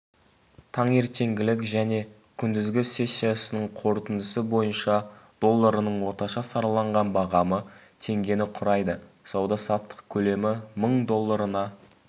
таңертеңгілік және күндізгі сессиясының қорытындысы бойынша долларының орташа сараланған бағамы теңгені құрайды сауда-саттық көлемі мың долларына